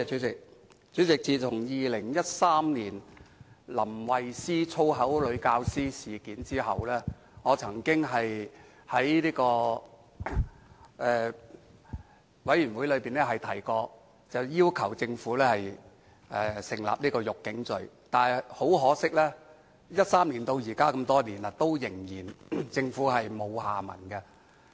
主席，在2013年林慧思的"粗口女教師"事件後，我曾在相關的事務委員會上要求政府訂立"辱警罪"，但很可惜 ，2013 年至今已經多年，政府依然沒有下文。